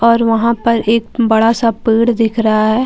और वहां पर एक बड़ा सा पेड़ दिख रहा है।